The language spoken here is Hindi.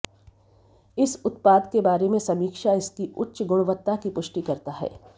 इस उत्पाद के बारे में समीक्षा इसकी उच्च गुणवत्ता की पुष्टि करता है